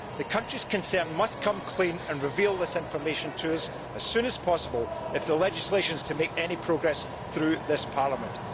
The countries concerned must come clean and reveal this information to us as soon as possible if the legislation is to make any progress through this Parliament.